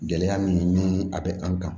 Gɛlɛya min ni a bɛ an kan